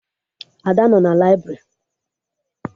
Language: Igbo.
Ada nọ na laibrị